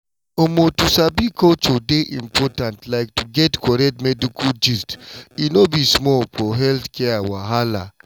omo to sabi culture dey important like to get correct medical gist e no be small for healthcare wahala.